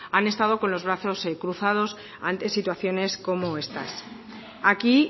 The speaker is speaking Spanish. han estado con los brazos cruzados ante situaciones como estas aquí